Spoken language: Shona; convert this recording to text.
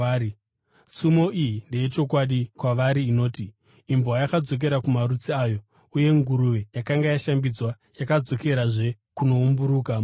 Tsumo iyi ndeyechokwadi kwavari inoti, “Imbwa yakadzokera kumarutsi ayo,” uye “Nguruve yakanga yashambidzwa yadzokerazve kunoumburuka mumatope.”